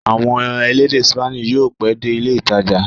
Àwọn elédè Spanish yóò pẹ́ dé ilé-ìtajà.